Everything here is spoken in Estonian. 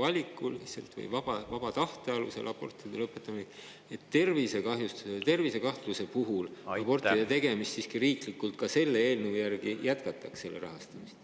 valikuliselt või vaba tahte alusel abortide ning tervisekahjustuse või tervise korral abortide riiklikku rahastamist selle eelnõu kohaselt siiski jätkatakse?